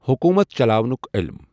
حۆکوٗمَتھ چَلاونُک عٔلم